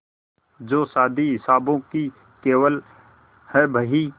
जो शादी हिसाबों की केवल है बही